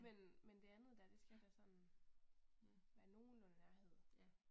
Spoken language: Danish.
Men men det andet der det skal da sådan være nogenlunde nærhed